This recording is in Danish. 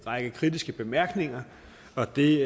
række kritiske bemærkninger og det